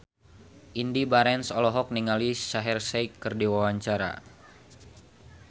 Indy Barens olohok ningali Shaheer Sheikh keur diwawancara